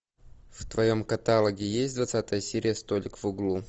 в твоем каталоге есть двадцатая серия столик в углу